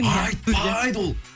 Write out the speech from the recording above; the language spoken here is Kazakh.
айтпайды ол